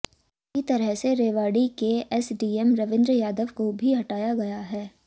इसी तरह से रेवाड़ी के एसडीएम रविंद्र यादव को भी हटाया गया है